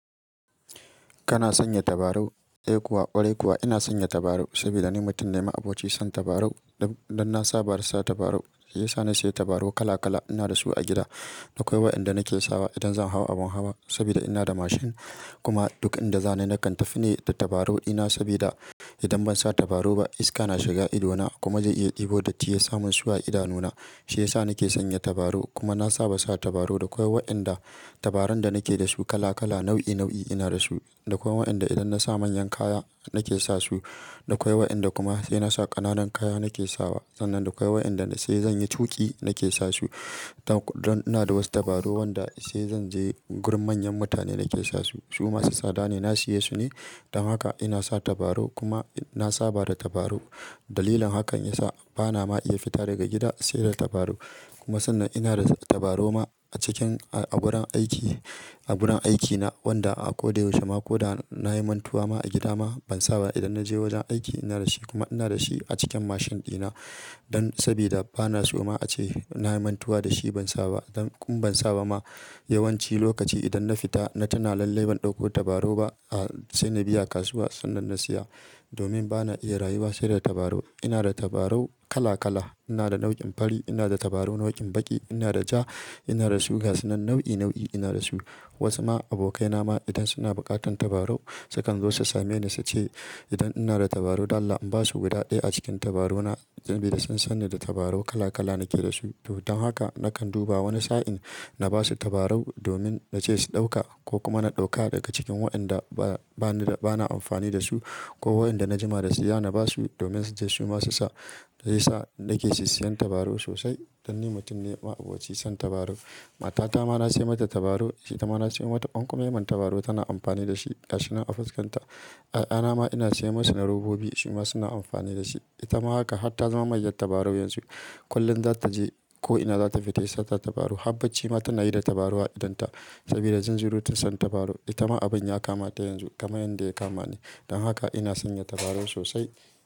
Kana sanya tabarau? Eh kuwa, ƙwarai kuwa ina sanya tabarau saboda ni mutum ne ma'abocin son tabarau. Don, don na saba da sa tabarau, shi ya sa na sayi tabarau kala-kala. Ina da su a gida, da kawai waɗanda nake sawa idan zan hau abin hawa saboda ina da mashin. Kuma duk inda zaani, nakan tafine da tabarau ina sabida idan ban sa tabarau ba iska na shiga ido na kuma zai iya ɗebo datti yasa mun su a idanu na. Shi ya sa nake sanya tabarau kuma na saba sa tabarau. Da akawai waɗanda tabarau da nake da su kala-kala, nau'i-nau'i ina da su. Da akawai waɗanda idan na sa manyan kaya nake sa su, da akawai waɗanda kuma sai na sa ƙananan kaya nake sawa. Sannan da kawai waɗanda sai zan yi tuƙi nake sa su. Don, don ina da wasu tabarau wanda sai zan je gurin manyan mutane nake sa su. Su masu tsada ne, na siye su ne. Don haka ina sa tabarau kuma na saba da tabarau. Dalilin hakan ya sa bana ma iya fita daga gida sai da tabarau. Kuma sannan ina da tabarau ma a cikin a wurin aiki, a wurin aikina wanda a koda yaushe ma koda na yi mantuwa ma a gida ma ban sa ba idan na je wajen aiki ina da shi kuma ina da shi a cikin mashin ɗina. Don sabida bana so ma ace na yi mantuwa da shi ban sa ba. Don in ban sa ba ma yawanci lokaci idan na fita na tana lallai ban ɗauko tabarau ba, a, sai na biya kasuwa sannan na siya domin bana iya rayuwa sai da tabarau. Ina da tabarau kala-kala. Ina da nau'in fari, ina da tabarau nau'in baƙi, ina da ja, ina da su gaske nau'i-nau'i ina da su. Wasu ma abokaina ma idan suna buƙatan tabarau sukan zo su same ni su ce idan ina da tabarau dala in ba su guda ɗaya a cikin tabarau na saboda sun san ni da tabarau kala-kala nake da su. Don haka nakan duba wani sa'in na ba su tabarau domin na ce su ɗauka ko kuma na ɗauka daga cikin waɗanda ba, bana, bana amfani da su ko waɗanda na jima da siya na ba su domin su je suma su sa. Sai ya sa nake sisiyan tabarau sosai don ni mutum ne ma'abocin son tabarau. Matata ma na siya mata tabarau, ita ma na siya mata kwankomemen tabarau tana amfani da shi gaske na a fuskanta. 'Ya'ya na ma ina siya masu na robobi su ma suna amfani da shi. Ita ma haka har ta zama mayyar tabarau yanzu. Kullum zata je ko ina zata fita sai sata tabarau. Habbaci ma tana yi da tabarau a idonta sabida zunzurutun son tabarau. Ita ma abin ya kama ta yanzu kamar yadda ya kama ni. Don haka ina sanya tabarau sosai.